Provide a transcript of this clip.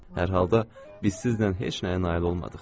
Hər halda biz sizlə heç nəyə nail olmadıq.